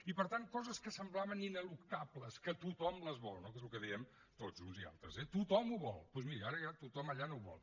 i per tant coses que semblaven ineluctables que tothom les vol no que és el que diem tots uns i altres eh tothom ho vol doncs miri ara ja tothom allà no ho vol